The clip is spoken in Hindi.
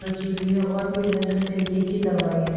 रखी हुई है और भी अलग अलग तरीके की दवाई है।